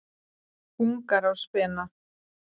Ungar á spena.